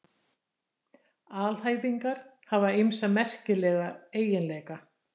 Alhæfingar hafa ýmsa merkilega eiginleika.